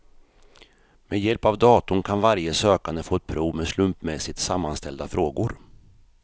Med hjälp av datorn kan varje sökande få ett prov med slumpmässigt sammanställda frågor.